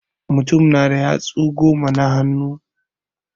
Mutum na da yatsu goma na hannu.